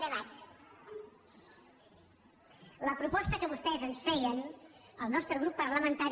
la proposta que vostès ens feien el nostre grup parlamentari